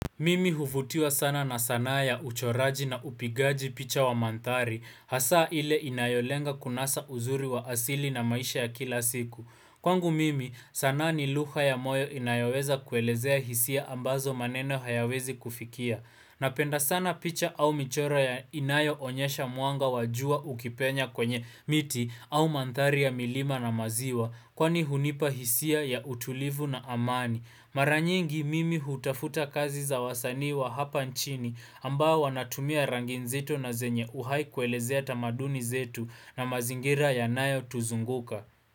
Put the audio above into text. Mimi huvutiwa sana na sanaa ya uchoraji na upigaji picha wa manthari Hasaa ile inayolenga kunasa uzuri wa asili na maisha ya kila siku Kwangu mimi sanaa ni luha ya moyo inayoweza kuelezea hisia ambazo maneno hayawezi kufikia Napenda sana picha au michoro ya inayoonyesha mwanga wajua ukipenya kwenye miti au manthari ya milima na maziwa Kwani hunipa hisia ya utulivu na amani Mara nyingi mimi hutafuta kazi za wasanii wa hapa nchini ambao wanatumia rangi nzito na zenye uhai kuelezea tamaduni zetu na mazingira yanayotuzunguka.